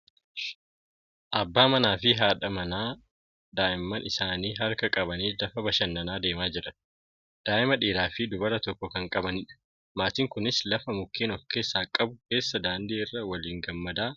Abbaa manaa fi jaadha manaa daa'imman isaanii harka qabatanii lafa bashannanaa deemaa jiran. Daa'ima dhiiraa fi dubara tokko kan qabanidha. Maatiin kunis lafa mukeen ofkeessaa qabu keessa daandii irra waliin gammadaa kan jiranidha.